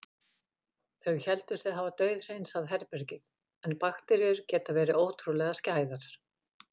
Þau héldu sig hafa dauðhreinsað herbergið- en bakteríur geta verið ótrúlega skæðar.